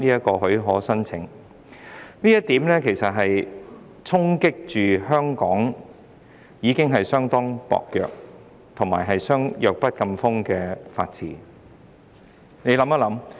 這項修訂其實會衝擊香港已經相當薄弱及弱不禁風的法治。